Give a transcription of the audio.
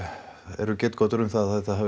eru getgátur um það að þetta hafi